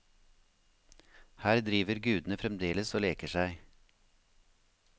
Her driver gudene fremdeles og leker seg.